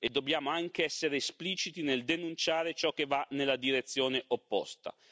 Dobbiamo anche essere espliciti nel denunciare ciò che va nella direzione opposta.